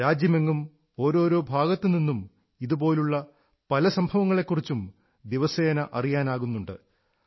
രാജ്യമെങ്ങും ഓരോരോ ഭാഗത്തുനിന്നും ഇതുപോലുള്ള പല സംഭവങ്ങളെക്കുറിച്ചും ദിവസേന അറിയാനാകുന്നുണ്ട്